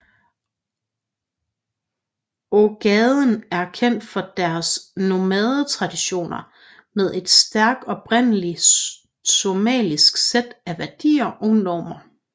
Ogaden er kendt for deres nomadetraditioner med et stærk oprindeligt somalisk sæt af værdier og normer